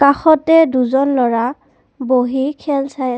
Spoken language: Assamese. কাষতে দুজন ল'ৰা বহি খেল চাই--